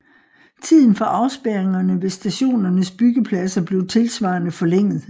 Tiden for afspærringerne ved stationernes byggepladser blev tilsvarende forlænget